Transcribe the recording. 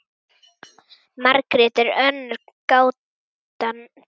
Margrét er önnur gátan til.